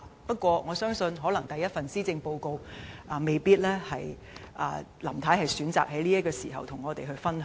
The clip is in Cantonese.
不過，我相信可能由於這是林太的首份施政報告，她未必會選擇在此時與我們分享。